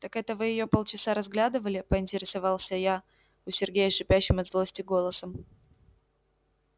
так это вы её полчаса разглядывали поинтересовался я у сергея шипящим от злости голосом